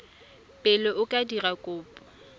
pele o ka dira kopo